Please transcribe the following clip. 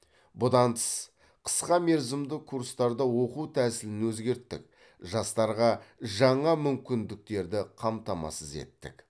бұдан тыс қысқа мерзімді курстарда оқу тәсілін өзгерттік жастарға жаңа мүмкіндіктерді қамтамасыз еттік